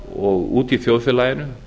og úti í þjóðfélaginu